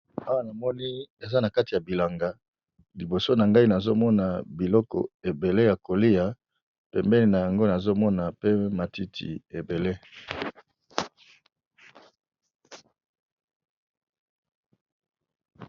Awa namoni eza na kati ya bilanga liboso na ngai nazomona biloko ebele ya kolia pembeni na yango nazomona pe matiti ebele.